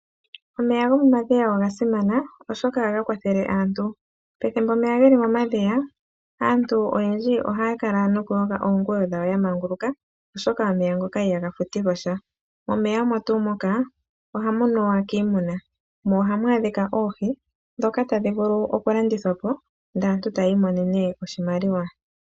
Omeya gomomadhiya oga simana oshoka ohaga kwathele aantu, pethimbo lyomeya geli momadhiya aantu ohaya yogo iinima yawo ya manguluka oshoka omeya ngoka ihaga futilwa sha, omeya ogo tuu ngoka ohaga nuwa kiimuna mo ohamu adhika oohi dhoka tadhi vulu okulandithwa po ndee aantu tayii monene oshimaliwa.